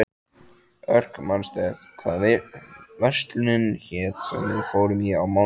Örk, manstu hvað verslunin hét sem við fórum í á mánudaginn?